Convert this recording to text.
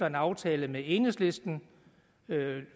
en aftale med enhedslisten